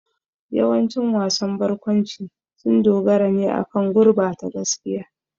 Yawancin wasan barkwanci sun dogara ne akan gurbata gaskiya.